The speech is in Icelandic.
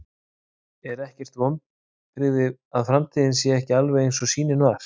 Er ekkert vonbrigði að framtíðin sé ekki alveg eins og sýnin var?